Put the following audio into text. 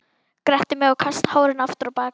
Gretti mig og kasta hárinu aftur á bak.